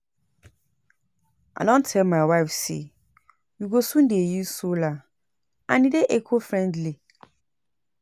I don tell my wife say we go soon dey use solar and e dey eco friendly